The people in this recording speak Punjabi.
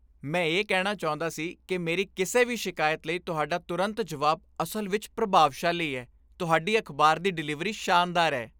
ਮੈਂ ਇਹ ਕਹਿਣਾ ਚਾਹੁੰਦਾ ਸੀ ਕਿ ਮੇਰੀ ਕਿਸੇ ਵੀ ਸ਼ਿਕਾਇਤ ਲਈ ਤੁਹਾਡਾ ਤੁਰੰਤ ਜਵਾਬ ਅਸਲ ਵਿੱਚ ਪ੍ਰਭਾਵਸ਼ਾਲੀ ਹੈ, ਤੁਹਾਡੀ ਅਖ਼ਬਾਰ ਦੀ ਡਿਲੀਵਰੀ ਸ਼ਾਨਦਾਰ ਹੈ।